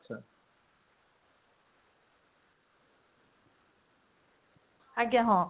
ଆଜ୍ଞା ହଁ